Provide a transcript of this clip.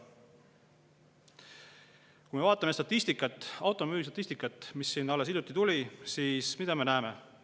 Kui me vaatame automüügistatistikat, mis alles hiljuti välja tuli, siis mida me näeme?